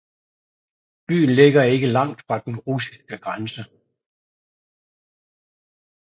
Byen ligger ikke langt fra den russiske grænse